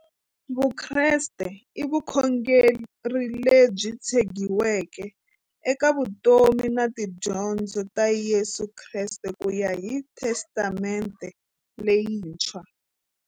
Vukreste i vukhongeri lebyi tshegiweke eka vutomi na tidyondzo ta Yesu Kreste kuya hi Testamente leyintshwa.